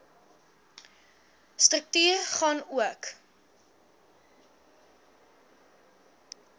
struktuur gaan ook